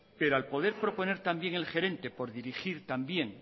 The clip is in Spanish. pero al poder proponer también el gerente por dirigir también